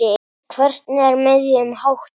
Hvernig er miðunum háttað?